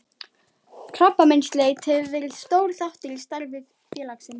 Krabbameinsleit hefur verið stór þáttur í starfi félagsins.